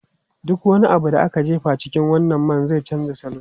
Duk wani abu da aka jefa a cikin wannan man zai canza salo.